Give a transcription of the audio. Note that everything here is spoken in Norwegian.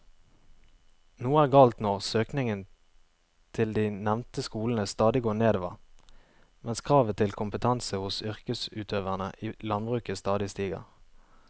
Noe er galt når søkningen til de nevnte skolene stadig går nedover mens kravet til kompetanse hos yrkesutøverne i landbruket stadig stiger.